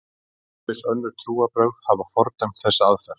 Ýmis önnur trúarbrögð hafa fordæmt þessa aðferð.